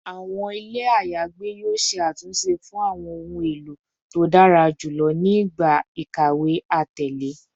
Awọn ile ayagbe yoo ṣe atunṣe fun awọn ohun elo to dara julọ ni igba ikawe atẹle